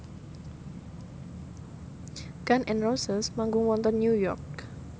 Gun n Roses manggung wonten New York